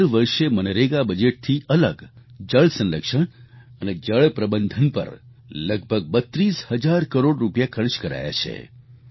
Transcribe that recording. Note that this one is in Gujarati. દર વર્ષે મનરેગા બજેટથી અલગ જળ સંરક્ષણ અને જળ પ્રબંધન પર લગભગ 32 હજાર કરોડ રૂપિયા ખર્ચ કરાયા છે